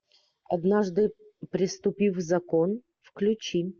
однажды преступив закон включи